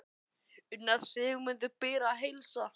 Karó, lækkaðu í hátalaranum.